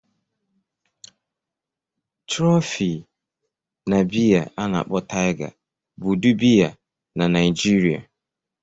Trophy na biya ana akpo Tiger bụ ụdị biya na Naijiria.